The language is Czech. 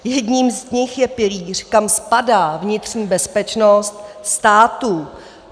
Jedním z nich je pilíř, kam spadá vnitřní bezpečnost států.